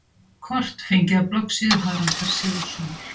Kort: Fengið af bloggsíðu Haraldar Sigurðssonar.